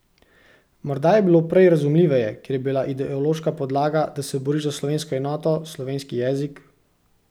Morda je bilo prej razumljiveje, ker je bila ideološka podlaga, da se boriš za slovensko enoto, slovenski jezik ...